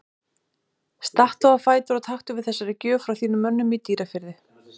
Stattu á fætur og taktu við þessari gjöf frá þínum mönnum í Dýrafirði.